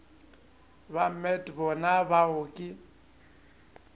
ba met bona bao ke